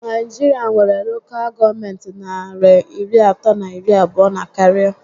Naijiria nwéré Lokal gọọmenti narị iri atọ na iri abụọ na karịa